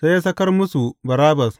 Sai ya sakar musu Barabbas.